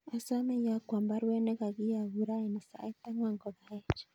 Asame iyokwon baruet nekogiyogun raini sait angwan kogaech